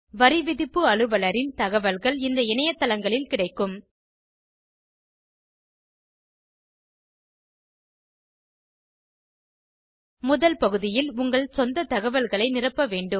வரிவிதிப்பு அலுவலரின் தகவல்கள் இந்த இணையத்தளங்களில் கிடைக்கும் முதல் பகுதியில் உங்கள் சொந்த தகவல்களை நிரப்ப வேண்டும்